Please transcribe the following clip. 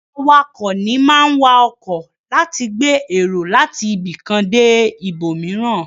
Awakọ̀ ní máa ń wa ọkọ láti gbé èrò láti ibìkan dé ibòmìíràn.